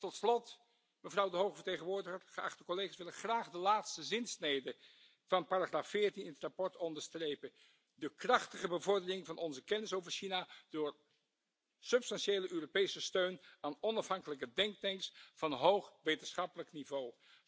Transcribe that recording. Tot slot, mevrouw de hoge vertegenwoordiger, geachte collega's, wil ik graag de laatste zinsnede van paragraaf 14 in het verslag onderstrepen de krachtige bevordering van onze kennis over China door substantiële Europese steun aan onafhankelijke denktanks van hoog wetenschappelijk niveau!